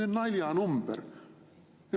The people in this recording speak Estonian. See on naljanumber.